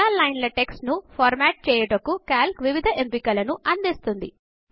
చాలా లైన్ల టెక్స్ట్ ను ఫార్మాట్చేయుటకు కాల్క్ వివిధ ఎంపికల ను అందిస్తుంది